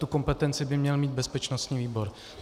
Tu kompetenci by měl mít bezpečnostní výbor.